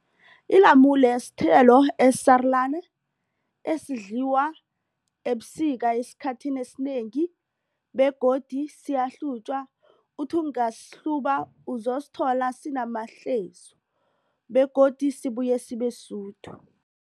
Ilamule sithelo esisarulana esidliwa ebusika esikhathini esinengi begodu siyahlutjwa uthi ungasihluba uzosithola sinamahlezu begodu sibuye sibesudu.